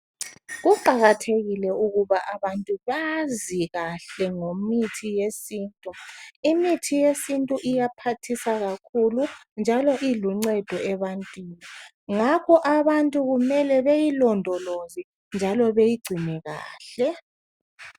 Kuqakathekile ukuba abantu bazi kahle ngomithi yesintu , imithi yesintu iyaphathisa kakhulu njalo iluncedo ebantwini ngakho abantu kumele beyilondoloze njalo beyigcine kahle